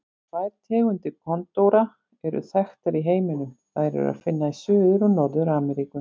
Tvær tegundir kondóra eru þekktar í heiminum, þær er að finna í Suður- og Norður-Ameríku.